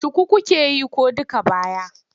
Shuku kuke yi ko duk baya?